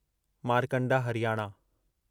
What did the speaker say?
Markanda Haryana